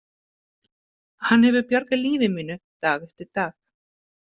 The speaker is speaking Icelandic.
Hann hefur bjargað lífi mínu dag eftir dag.